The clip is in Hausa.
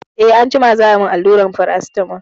Eh anjima za a yi min alluran Paracetamol.